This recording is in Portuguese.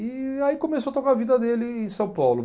E aí começou a tocar a vida dele em São Paulo.